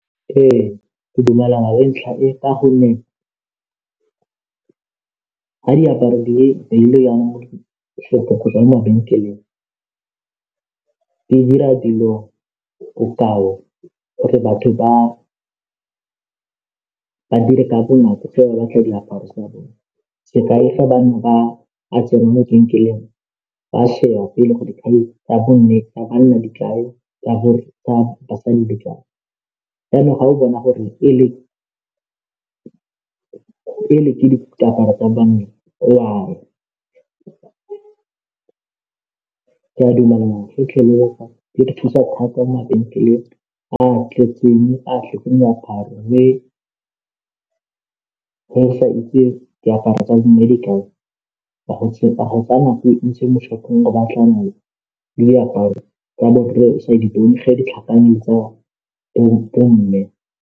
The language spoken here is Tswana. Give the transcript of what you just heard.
Ee, ke dumelana le ntlha e ka gonne ga diaparo dile yana mo gotswa mo mabenkeleng di dira dilo bokao gore batho ba dire ka bonako fa o batla diaparo tsa bone, sekai fa bangwe ba a tsenngwa mo lebenkeleng ba sheba pele greo dikhai tsa banna di kae tsa basadi jaaanong ga o bona gore e le ke diaparo tsa banna o a ya, ke a dumelana e re thusa thata mo mabenkeleng a tletseng moaparo le fa o sa itse diaparo tsa bo mme di kae mo shop-ong go batlana le diaparo o sa di bone ge di tlhakane le tsa bo mme.